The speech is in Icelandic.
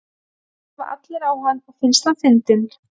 Horfa allir á hann og finnst hann fyndinn?